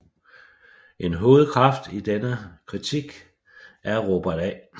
En hovedkraft i denne kritik er Robert A